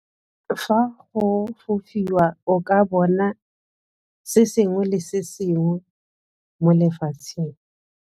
Fa go bofiwa o ka bona se sengwe le sengwe mo lefatsheng.